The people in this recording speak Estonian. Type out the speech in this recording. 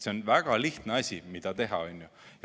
See on väga lihtne asi, mida teha.